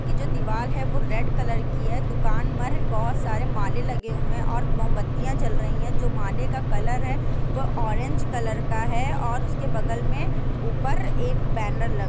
कि जो दीवाल है वो रेड कलर की है दुकान मर बहोत सारे माले लगे हुए हैं और मोमबत्तियाँ जल रही हैं जो माले का कलर है वो ऑरेंज कलर का है और उसके बगल में ऊपर एक बैनर लग --